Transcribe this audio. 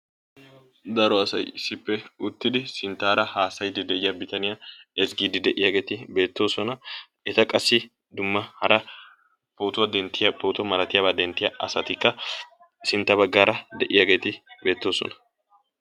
daro asay issippe uttidi sinttaara haasayiiddi de"iyaa bitaniyaa ezggiiddi de"iyaageeti beettoosona. eta qassi dumma hara pootuwaa denttiyaa pooto malatiyaabaa denttiyaa asatikka sintta baggaara de"iyaageeti beettoosona.